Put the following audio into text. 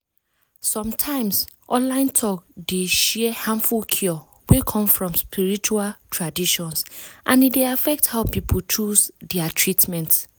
some times online talk dey share harmful cure wey come from spiritual traditions and e dey affect how people choose their treatment.